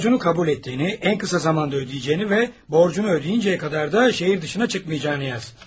Borcunu qəbul etdiyini, ən qısa zamanda ödəyəcəyini və borcunu ödəyincəyə qədər də şəhər dışına çıxmayacağını yaz.